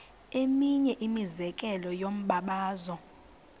eminye imizekelo yombabazo